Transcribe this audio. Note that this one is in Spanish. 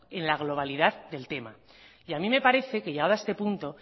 en la globalidad del tema y a mí me parece que llegado a este punto